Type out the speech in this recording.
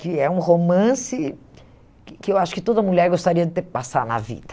que é um romance que eu acho que toda mulher gostaria de ter que passar na vida.